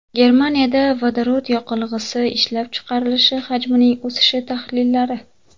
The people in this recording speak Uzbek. Germaniyada vodorod yoqilg‘isi ishlab chiqarilishi hajmining o‘sishi tahlillari.